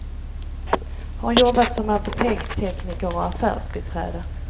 Har jobbat som apotekstekniker och affärsbiträde.